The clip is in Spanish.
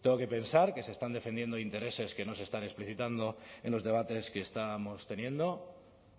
tengo que pensar que se están defendiendo intereses que no se están explicitando en los debates que estábamos teniendo